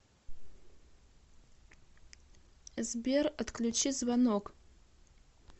сбер отключи звонок